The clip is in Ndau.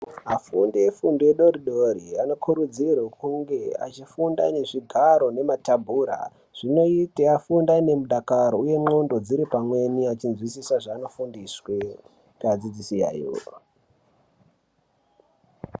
Afundi efundo idoridori anokurudzirwe kunge echifunda nezvigaro nematabhura zvinote afunde aine mudakaro uye ndxondo dziripamweni achinzwisise zvaanofundiswe ngeadzidzisi yayo.